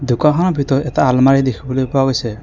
দোকানখনৰ ভিতৰত এটা আলমাৰি দেখিবলৈ পোৱা গৈছে।